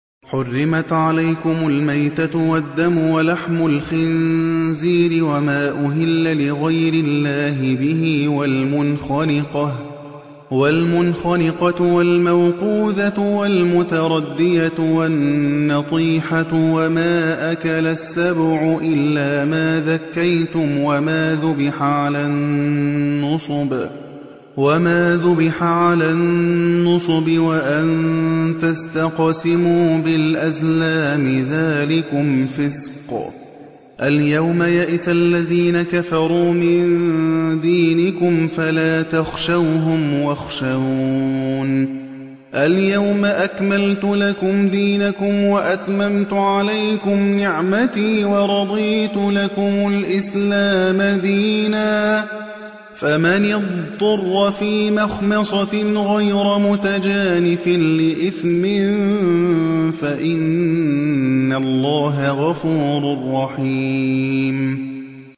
حُرِّمَتْ عَلَيْكُمُ الْمَيْتَةُ وَالدَّمُ وَلَحْمُ الْخِنزِيرِ وَمَا أُهِلَّ لِغَيْرِ اللَّهِ بِهِ وَالْمُنْخَنِقَةُ وَالْمَوْقُوذَةُ وَالْمُتَرَدِّيَةُ وَالنَّطِيحَةُ وَمَا أَكَلَ السَّبُعُ إِلَّا مَا ذَكَّيْتُمْ وَمَا ذُبِحَ عَلَى النُّصُبِ وَأَن تَسْتَقْسِمُوا بِالْأَزْلَامِ ۚ ذَٰلِكُمْ فِسْقٌ ۗ الْيَوْمَ يَئِسَ الَّذِينَ كَفَرُوا مِن دِينِكُمْ فَلَا تَخْشَوْهُمْ وَاخْشَوْنِ ۚ الْيَوْمَ أَكْمَلْتُ لَكُمْ دِينَكُمْ وَأَتْمَمْتُ عَلَيْكُمْ نِعْمَتِي وَرَضِيتُ لَكُمُ الْإِسْلَامَ دِينًا ۚ فَمَنِ اضْطُرَّ فِي مَخْمَصَةٍ غَيْرَ مُتَجَانِفٍ لِّإِثْمٍ ۙ فَإِنَّ اللَّهَ غَفُورٌ رَّحِيمٌ